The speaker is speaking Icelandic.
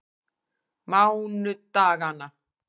mánudaganna